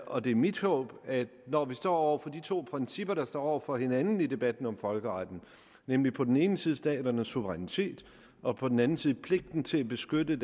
og det er mit håb når vi står over for de to principper der står over for hinanden i debatten om folkeretten nemlig på den ene side staternes suverænitet og på den anden side pligten til at beskytte